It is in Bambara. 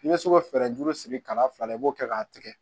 I bɛ se ka fɛɛrɛ juru sigi ka fila la i b'o kɛ k'a tigɛ